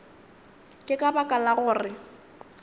ke ka baka la gore